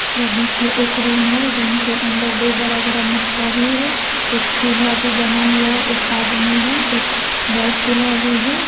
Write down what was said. यह देखिए एक रूम है रूम के अंदर दो बड़ा-बड़ा मटका भी है एक चूल्हा भी बना हुआ हे एक आदमी है एक गैस चूल्हा भी है।